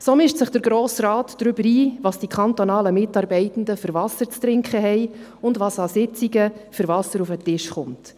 So mischt sich der Grosse Rat ein, welches Wasser die kantonalen Mitarbeitenden zu trinken haben und welches Wasser an Sitzungen auf den Tisch kommt.